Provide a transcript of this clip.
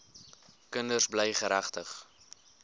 kinders bly geregtig